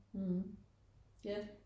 Mh ja